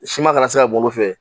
Siman kana se ka bɔ o fɛ